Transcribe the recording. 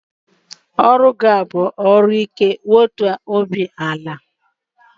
Ọrụ gị a bụ ọrụ ike, wetuo obi ala!